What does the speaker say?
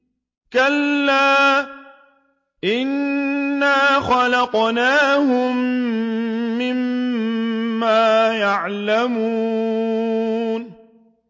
كَلَّا ۖ إِنَّا خَلَقْنَاهُم مِّمَّا يَعْلَمُونَ